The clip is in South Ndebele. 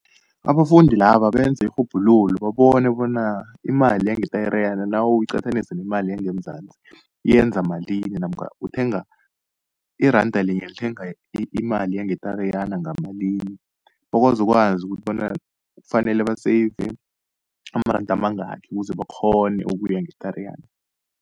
Abafundi laba benze irhubhululo, babone bona imali yangeTariyana, nawuyiqathanisa nemali yangeMzansi, yenza malini namkha uthenga, iranda linye lithenga imali yangeTariyana ngamalini, bakwazi ukwazi ukuthi bona kufanele baseyive amaranda amangaki ukuze bakghone ukuya ngeTariyana.